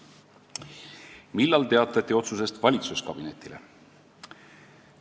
"Millal teatati otsusest valitsuskabinetile?